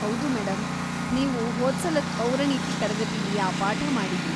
ಹೌದು ಮೇಡಂ. ನೀವು ಹೋದ್ಸಲದ್ ಪೌರನೀತಿ ತರಗತಿಲಿ ಆ ಪಾಠ ಮಾಡಿದ್ರಿ.